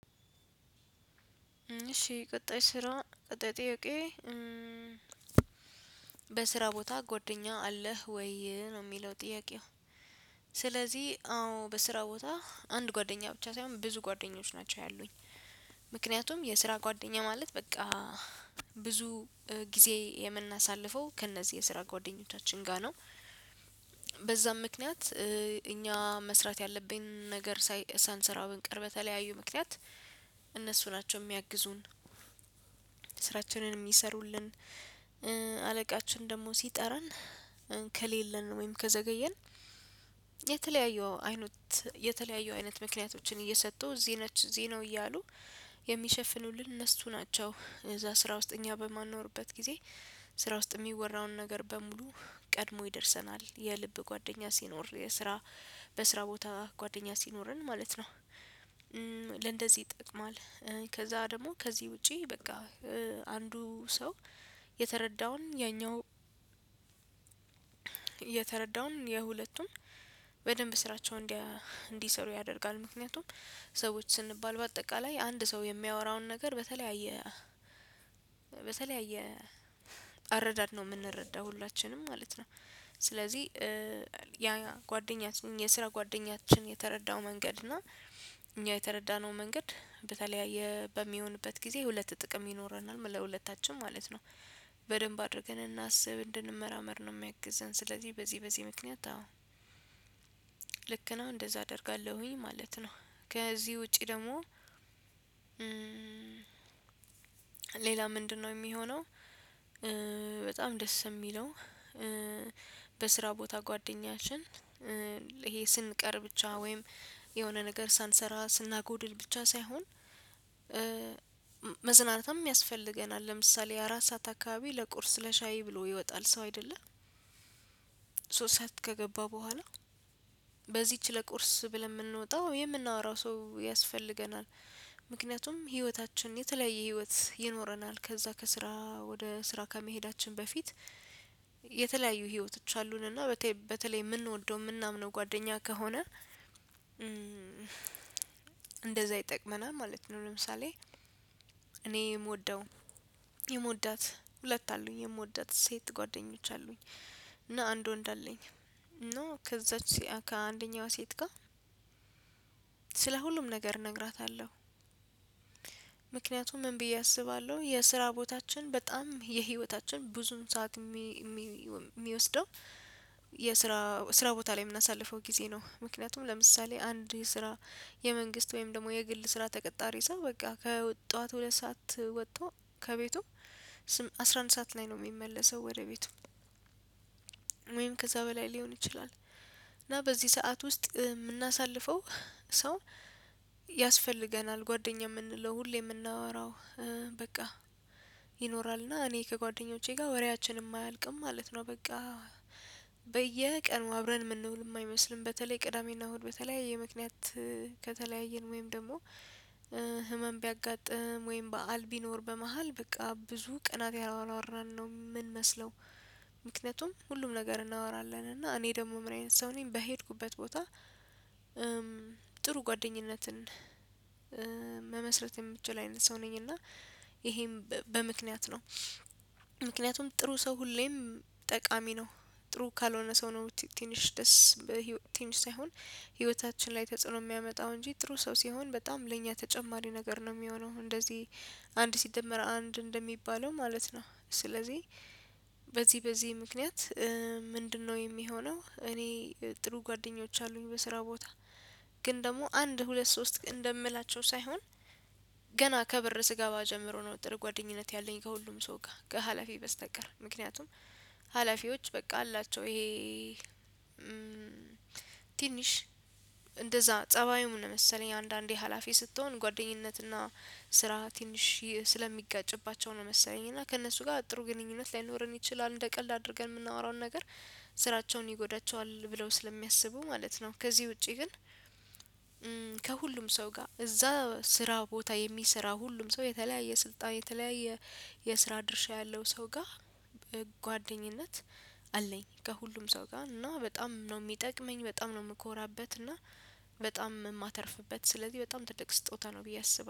እሺ ቀጣይ ስራ ቀጣይ ጥይቄ በስራ ቦታ ጓደኛ አለህ ወይ ነው የሚለው ጥያቄው? ስለዚህ አዎ በስራ ቦታ አንድ ጓደኛ ብቻ ሳይሆን ብዙ ጓደኞች ናቸው ያሉኝ ምክንያቱም የስራ ጓደኛ ማለት በቃ ብዙ ጊዜ የምናሳልፈው ከእነዚህ የስራ ጓደኞቻችን ጋር ነው። በዛም ምክንያት እኛ መስራት ያለብኝ ነገር ሳንሰራው ብንቀር በተለያዩ ምክንያት እነሱ ናቸው የሚያግዙን። ስራቸንን የሚሰሩልን አለቃችን ደግሞ ሲጠራን ከሌለን ወይም ከዘገየን የተለያየው አይነት የተለያየው አይነት ምክንያቶችን እየሰጡ እዚህ ነች እዚህ ነው እያሉ የሚሸፍኑልን እነሱ ናቸው። እዛ ስራ ውስጥ እኛ በማንኖርበት ጊዜ ስራ ውስጥ የሚወራውን ነገር በሙሉ ቀድሞ ይደርሰናል የልብ ጓደኛ ሲኖር የስራ በስራ ቦታ ጓደኛ ሲኖርን ማለት ነው። ለእንደዚህ ይጠቅማል ከዛ ደግሞ ከዚህ ውጪ በቃ አንዱ ሰው የተረዳውን ያኛው የተረዳውን የሁለቱም በደንብ ስራቸው እንዲሰሩ ያደርጋሉ ምክንያቱም ሰዎች ስንባል በአጠቃላይ አንድ ሰው የሚያወራውን ነገር በተለያየ በተለያየ አረዳድ ነው የምንረዳው ሁላችንም ማለት ነው። ስለዚህ ያ ጓደኛችን የስራ ጓደኛችን የተረዳው መንገድ እና እኛ የተረዳነው መንገድ በተለያየ በሚሆንበት ጊዜ ሁለት ጥቅም ይኖረናል ለሁለታችን ማለት ነው። በደንብ አድርገን እናስብ እንድንመራመር ነው ሚያግዘን ስለዚህ በዚህ በዚህ ምክንያት አዎ ልክ ነው እንደዛ አደርጋለሁኝ ማለት ነው። ከዚህ ውጪ ደግሞ ሌላ ምንድነው የሚሆነው? በጣም ደስ የሚለው በስራ ቦታ ጓደኛችን ይሄ ስንቀር ብቻ ወይም የሆነ ነገር ሳንሰራ ስናጎድል ብቻ ሳይሆን መዝናናትም ያስፈልገናል። ለምሳሌ አራት ሰዓት አካባቢ ለቁርስ ለሻይ ብሎ ይወጣል ሰው አይደለ አይደለም ሶስት ሰዓት ከገባ በኋላ በዚህች ለቁርስ ብለን የምንወጣው የምናወራው ሰው ያስፈልገናል። ምክንያቱም ህይወታችን የተለያየ ህይወት ይኖረናል ከዛ ከስራ ወደ ስራ ከመሄዳችን በፊት የተለያዩ ህይወተዎች አሉንና በተለይ የምንወደው የምናምነው ጓደኛ ከሆነ እንደዛ ይጠቅመናል ማለት ነው። ለምሳሌ እኔ የምወደው የምወዳት ሁለት አሉኝ የምወዳት ሴት ጓደኞች አሉኝ እና አንድ ወንድ አለኝ እና ከዛች ከአንደኛው ሴት ጋር ስለ ሁሉም ነገር እነግራታለሁ። ምክንያቱም ምን ብዬ አስባለሁ የስራ ቦታችን በጣም የህይወታችን ብዙም ሰዓት ሚወስደው የስራ ስራ ቦታ ላይ የምናሳልፈው ጊዜ ነው ምክንያቱም ለምሳሌ አንድ ስራ የመንግስት ወይም ደግሞ የግል ስራ ተቀጣሪ ሰው በቃ ከጠዋት ሁለት ሰዓት ወጣው ከቤቱ አስራ አንድ ሰዓት ላይ ነው የሚመለሰው ወደ ቤቱ ወይም ከዛ በላይ ሊሆን ይችላል። እና በዚህ ሰዓት ውስጥ ምናሳልፈው ሰው ያስፈልገናል ጓደኛ የምንለው ሁሌ የምናወራው በቃ ይኖራልና እኔ ከጓደኞቼ ጋር ወሬያችንም አያልቅም ማለት ነው። በቃ በየቀኑ አብረን የምንውል የማይመስልም በተለይ ቅዳሜና እሁድ በተለያየ ምክንያት ከተለያየን ወይም ደግሞ ህመም ቢያጋጥም ወይም በዓል ቢኖር በመሃል በቃ ብዙ ቅናት ያላወራን ነው ምንመስለው ምክንያቱም ሁሉም ነገር እናወራለን እና እኔ ደግሞ ምራዬን ሰው ነኝ በሄድኩበት ቦታ ጥሩ ጓደኝነትን መመስረት የምችል አይነት ሰው ነኝ እና ይሄም በምክንያት ነው። ምክንያቱም ጥሩ ሰው ሁሌም ጠቃሚ ነው ጥሩ ካልሆነ ሰው ነው ትንሽ ደስ በ ትንሽ ሳይሆን ህይወታችን ላይ ተጽዕኖ የሚያመጣው እንጂ ጥሩ ሰው ሲሆን በጣም ለእኛ ተጨማሪ ነገር ነው የሚሆነው እንደዚህ አንድ ሲደመር አንድ እንደሚባለው ማለት ነው። ስለዚህ በዚህ በዚህ ምክንያት ምንድነው የሚሆነው? እኔ ጥሩ ጓደኞች አሉኝ በስራ ቦታ ግን ደግሞ አንድ ሁለት ሶስት እንደምላቸው ሳይሆን ገና ከበር ስገባ ጀምሮ ነው ጥሩህ ጓደኝነት ያለኝ ከሁሉም ሰው ጋር ከሀላፊ በስተቀር ምክንያቱም ሀላፊዎች በቃ አላቸው ይሄ ትንሽ እንደዛ ፀባዩ ምን መሰለህ አንዳንዴ ሀላፊ ስትሆን ጓደኝነትና ስራ ትንሽ ስለሚጋጭባቸው ነው መሰለኝ እና ከእነሱ ጋር ጥሩ ግንኙነት ላይኖረን ይችላል እንደቀላ አድርገን የምናወራውን ነገር ስራቸውን ይጎዳቸዋል ብለው ስለሚያስቡ ማለት ነው። ከዚህ ውጪ ግን ከሁሉም ሰው ጋር እዛ ስራ ቦታ የሚሰራ ሁሉም ሰው የተለያየ ስልጣን የተለያየ የስራ ድርሻ ያለው ሰው ጋር በጓደኝነት አለኝ ከሁሉም ሰው ጋር እና በጣም ነው ሚጠቅመኝ ነው የምኮራበት እና በጣም ማተርፍበት ስለዚህ በጣም ትደቅ ስጦታ ነው ብዬ አስባለሁ